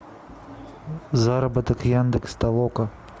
заработок яндекс толока